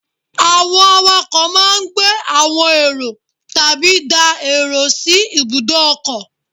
Àwọn àwàkọ̀ máa gbé àwọn èrò tàbí dá èrò sí ibùdó ọkọ̀.